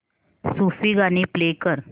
सूफी गाणी प्ले कर